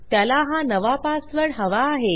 त्याला हा नवा पासवर्ड हवा आहे